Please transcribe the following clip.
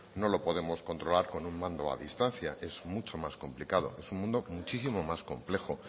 no lo podemos controlar con un mando a distancia es mucho más complicado es un mundo muchísimo más complejo